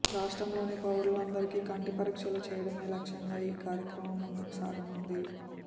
రాష్ట్రంలోని పౌరులందరికీ కంటి పరీక్షలు చేయడమే లక్ష్యంగా ఈ కార్యక్రమం ముందుకు సాగనుంది